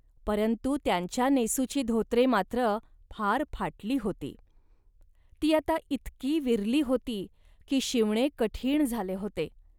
परंतु त्यांच्या नेसूची धोतरे मात्र फार फाटली होती. ती आता इतकी विरली होती, की शिवणे कठीण झाले होते